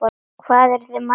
Hvað eruð þið margir hérna?